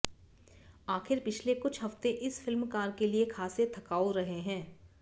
आखिर पिछले कुछ हफ्ते इस फिल्मकार के लिए खासे थकाऊ रहे हैं